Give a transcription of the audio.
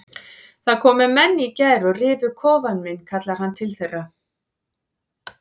Það komu menn í gær og rifu kofann minn kallar hann til þeirra.